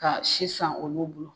Ka sisan olu bolo.